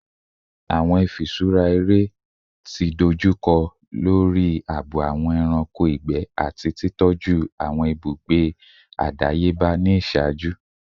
Awọn ifiṣura ere ti dojukọ lori aabo awọn ẹranko igbẹ ati titọju awọn ibugbe adayeba ni iṣaaju